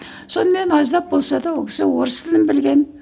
сонымен аздап болса да ол кісі орыс тілін білген